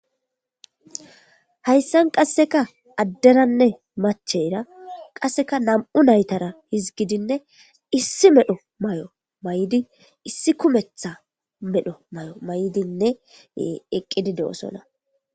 hayssan qasseka addenanne macheyra qasseka nam7u naytara hizgidinne issi medho may7o may7di issi kumetha medho may7o may7dinne eqqidi de7osona